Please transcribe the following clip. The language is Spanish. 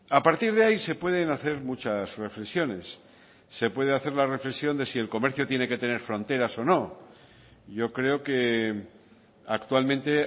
a partir de ahí se pueden hacer muchas reflexiones se puede hacer la reflexión de si el comercio tiene que tener fronteras o no yo creo que actualmente